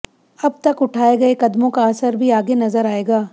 अब तक उठाए गए कदमों का असर भी आगे नजर आएगा